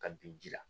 Ka bin ji la